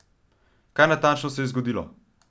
Kaj natančno se je zgodilo?